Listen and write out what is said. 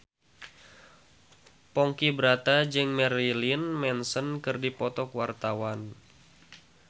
Ponky Brata jeung Marilyn Manson keur dipoto ku wartawan